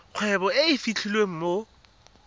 kgwebo e e fitlhelwang mo